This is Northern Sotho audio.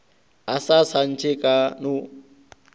a sa tantshe a no